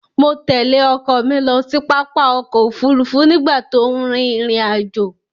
Mo tẹ̀lé ọkọ mi lọ sí pápá ọ̀kọ̀-òfurufú nígbà tó n rin ìrìn-àjọ̀.